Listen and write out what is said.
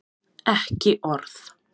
Ekki orð!